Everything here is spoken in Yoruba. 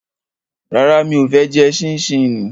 Rárá, mi ò fẹ́ jẹ ṣíníṣíní